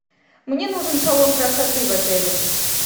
мне нужен салон красоты в отеле